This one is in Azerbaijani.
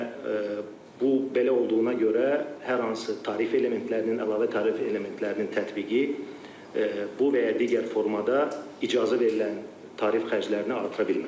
Və bu belə olduğuna görə hər hansı tarif elementlərinin, əlavə tarif elementlərinin tətbiqi bu və ya digər formada icazə verilən tarif xərclərini artıra bilməz.